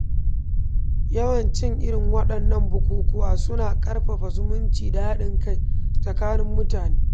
Yawanci, irin waɗannan bukukkuwa suna ƙarfafa zumunci da haɗin kai tsakanin mutane.